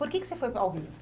Por que que você foi ao Rio?